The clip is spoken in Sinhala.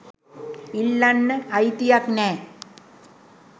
ඉල්ලන්න අයිතියක් නෑ.